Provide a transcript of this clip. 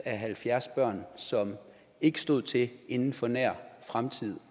af halvfjerds børn som ikke stod til inden for en nær fremtid